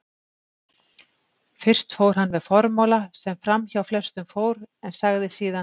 Fyrst fór hann með formála sem framhjá flestum fór, en sagði síðan